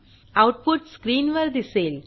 output स्क्रीनवर दिसेल